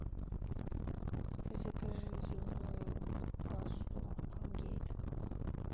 закажи зубную пасту колгейт